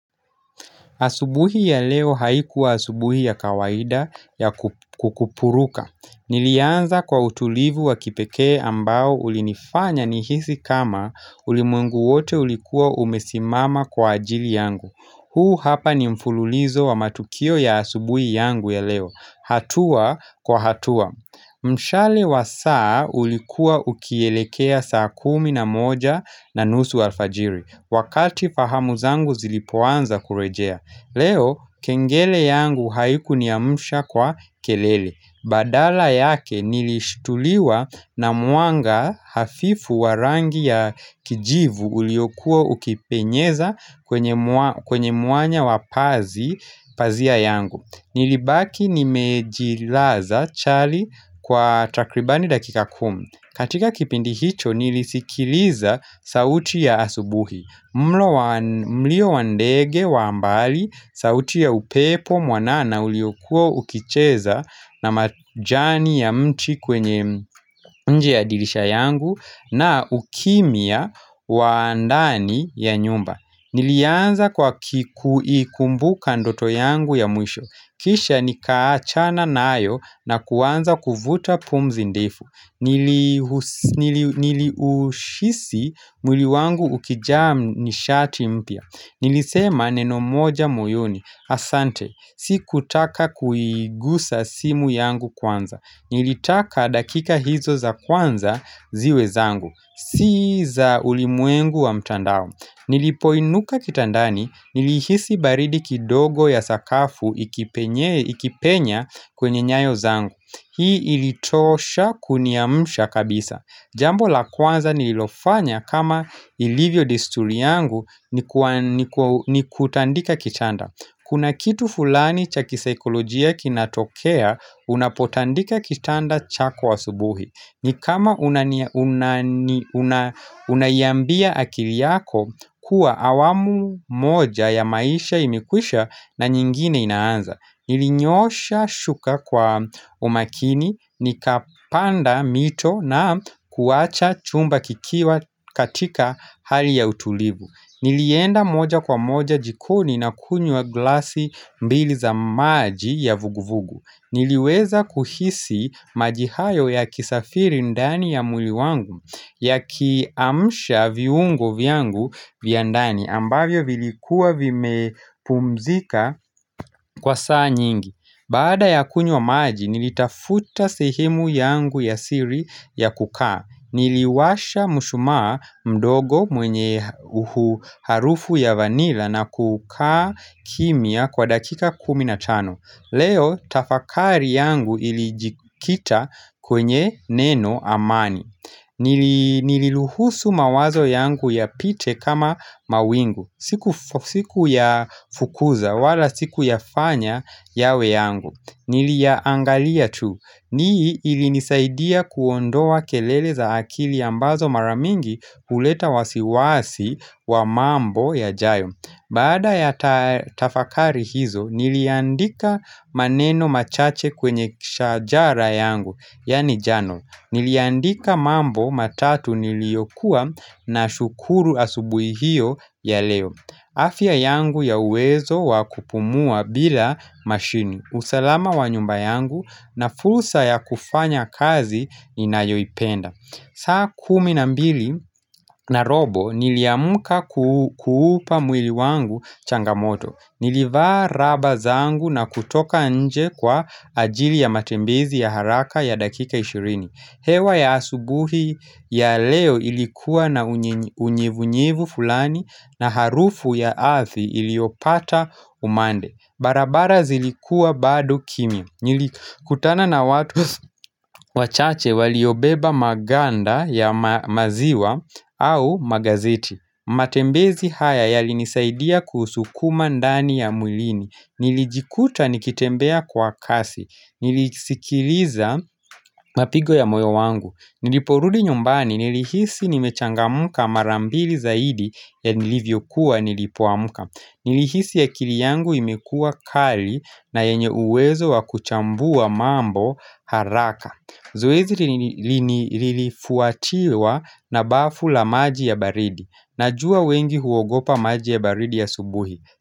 Asubuhi ya leo haikuwa asubuhi ya kawaida ya kukupuruka. Nilianza kwa utulivu wa kipekee ambao ulinifanya nihisi kama ulimwengu wote ulikuwa umesimama kwa ajili yangu. Huu hapa ni mfululizo wa matukio ya asubuhi yangu ya leo. Hatua kwa hatua Mshale wa saa ulikua ukielekea saa kumi na moja na nusu alfajiri. Wakati fahamu zangu zilipoanza kurejea Leo, kengele yangu haikuniamsha kwa kelele Badala yake nilishtuliwa na mwanga hafifu wa rangi ya kijivu Uliokuwa ukipenyeza kwenye kwenye mwanya wa pazi pazia yangu. Nilibaki nimejilaza chali kwa takribani dakika kumi katika kipindi hicho nilisikiliza sauti ya asubuhi mlo mlio wa ndege wa mbali sauti ya upepo mwanana uliokuwa ukicheza na majani ya mti kwenye nje ya dirisha yangu na ukimya wa ndani ya nyumba. Nilianza kwa kuikumbuka ndoto yangu ya mwisho Kisha nikaachana nayo na kuanza kuvuta pumzi ndefu Niliushisi mwili wangu ukijaa nishati mpya. Nilisema neno moja moyoni Asante, sikutaka kuigusa simu yangu kwanza. Nilitaka dakika hizo za kwanza ziwe zangu Si za ulimwengu wa mtandao. Nilipoinuka kitandani nilihisi baridi kidogo ya sakafu ikipenya kwenye nyayo zangu. Hii ilitosha kuniamsha kabisa. Jambo la kwanza nililofanya kama ilivyo desturi yangu ni kutandika kitanda Kuna kitu fulani cha kisikolojia kinatokea unapotandika kitanda chako asubuhi. Ni kama unaiambia akili yako kuwa hawamu moja ya maisha imekwisha na nyingine inaanza. Nilinyoosha shuka kwa umakini, nikapanda mito na kuacha chumba kikiwa katika hali ya utulivu Nilienda moja kwa moja jikoni na kunywa glasi mbili za maji ya vuguvugu. Niliweza kuhisi maji hayo yakisafiri ndani ya mwili wangu Yakiamsha viungo vyangu vya ndani ambavyo vilikuwa vimepumzika kwa saa nyingi Baada ya kunywa maji nilitafuta sehemu yangu ya siri ya kukaa. Niliwasha mshumaa mdogo mwenye harufu ya vanila na kukaa kimya kwa dakika kumi na tano. Leo tafakari yangu ilijikita kwenye neno amani Niliruhusu mawazo yangu yapite kama mawingu. Sikuyafukuza wala sikuyafanya yawe yangu Niliaangalia tu hii ilinisaidia kuondoa kelele za akili ambazo mara mingi huleta wasiwasi wa mambo yajayo Baada ya tafakari hizo niliandika maneno machache kwenye shajara yangu Yaani jano Niliandika mambo matatu niliyokuwa nashukuru asubuhi hiyo ya leo. Afya yangu ya uwezo wa kupumua bila mashini. Usalama wa nyumba yangu na fursa ya kufanya kazi ninayoipenda. Saa kumi na mbili na robo niliamka kuupa mwili wangu changamoto. Nilivaa raba zangu na kutoka nje kwa ajili ya matembezi ya haraka ya dakika ishirini. Hewa ya asubuhi ya leo ilikuwa na unyevunyevu fulani na harufu ya ardhi iliopata umande. Barabara zilikuwa bado kimya. Nilikutana na watu wachache waliobeba maganda ya maziwa au magazeti. Matembezi haya yalinisaidia kusukuma ndani ya mwlini Nilijikuta nikitembea kwa kasi Nilisikiliza mapigo ya moyo wangu. Niliporudi nyumbani nilihisi nimechangamka mara mbili zaidi ya nilivyokuwa nilipoamka. Nilihisi akili yangu imekuwa kali na yenye uwezo wa kuchambua mambo haraka Zoezi lilifuatiwa na bafu la maji ya baridi. Najua wengi huogopa maji ya baridi asubuhi.